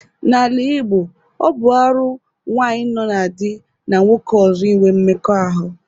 N'ala Igbo, ọ bụ arụ nwaanyị nọọ na di na nwoke ọzọ inwe mmekọahụ.